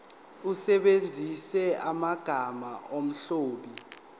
usebenzise amagama omlobi